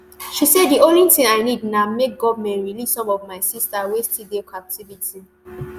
she say di only tin i need na make goment release some of my sisters wey still dey captivity